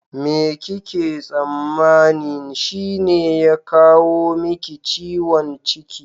Me kike tsammanin shine ya kawo miki ciwon ciki?